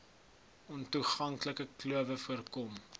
ontoeganklike klowe voorkom